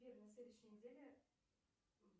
сбер на следующей неделе